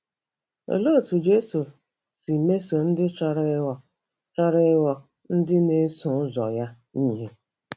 Olee otú Jesu si mesoo ndị chọrọ ịghọ chọrọ ịghọ ndị na-eso ụzọ ya ihe?